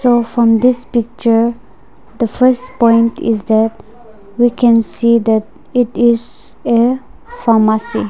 so from this picture the first point is that we can see that it is a pharmacy.